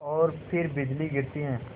और फिर बिजली गिरती है